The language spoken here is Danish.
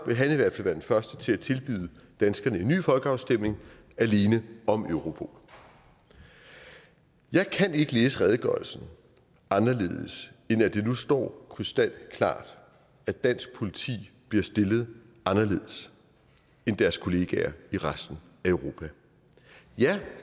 han i hvert fald være den første til at tilbyde danskerne en ny folkeafstemning alene om europol jeg kan ikke læse redegørelsen anderledes end at det nu står krystalklart at dansk politi bliver stillet anderledes end deres kollegaer i resten af europa ja